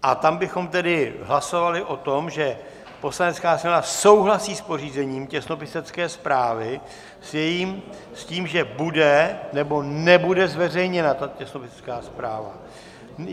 A tam bychom tedy hlasovali o tom, že Poslanecká sněmovna souhlasí s pořízením těsnopisecké zprávy, s tím, že bude, nebo nebude zveřejněna ta těsnopisecká zpráva.